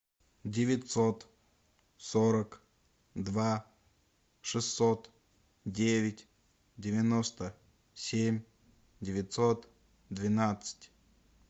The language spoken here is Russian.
девятьсот сорок два шестьсот девять девяносто семь девятьсот двенадцать